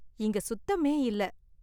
இங்க சுத்தமே இல்ல.